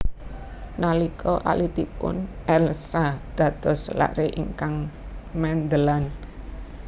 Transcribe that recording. Nalika alitipun Elza dados lare ingkang mendelan